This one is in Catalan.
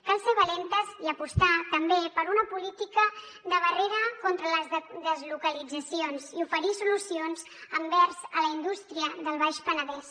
cal ser valentes i apostar també per una política de barrera contra les deslocalitzacions i oferir solucions envers la indústria del baix penedès